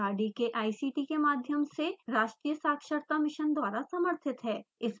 यह भारत सरकार के mhrd के ict के माध्यम से राष्ट्रीय साक्षरता मिशन द्वारा समर्थित है